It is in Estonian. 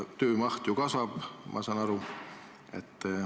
Töömaht ju kasvab, ma saan aru.